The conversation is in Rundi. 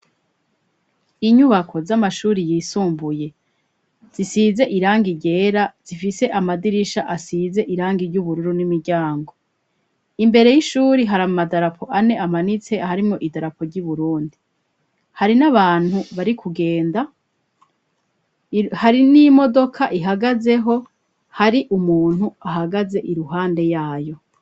Inyubako z'amashuri yisumbuye zisize irangi ryera, zifise amadirisha asize irangi ry'ubururu n'imiryango, imbere y'ishuri hari amadarapo ane amanitse harimwo idarapo ry'uburundi, hari n'abantu bari kugenda, hari n'imodoka ihagazeho, hari umuntu ahagaze iruhande yayo.